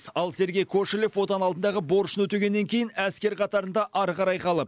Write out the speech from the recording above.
ал сергей кошелев отан алдындағы борышын өтегеннен кейін әскер қатарында ары қарай қалып